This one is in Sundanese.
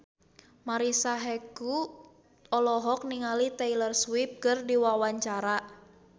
Marisa Haque olohok ningali Taylor Swift keur diwawancara